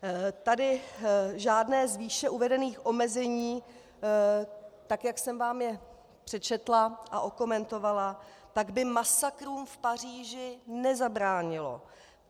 Tady žádné z výše uvedených omezení, tak jak jsem vám je přečetla a okomentovala, tak by masakrům v Paříži nezabránilo.